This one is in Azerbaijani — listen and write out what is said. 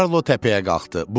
Karlo təpəyə qalxdı.